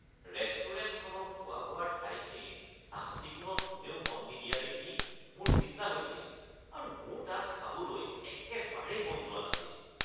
ৰেষ্টুৰেণ্টখনৰ খোৱা-বোৱাৰ ঠাইখিনিৰ চাফ-চিকুণত কোনেও মন নিদিয়া দেখি মোৰ চিন্তা হৈছিল আৰু মোৰ তাত খাবলৈ একেবাৰে মন যোৱা নাছিল।